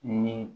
Ni